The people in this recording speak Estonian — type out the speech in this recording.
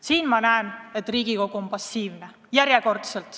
Siingi näen järjekordselt, et Riigikogu on passiivne.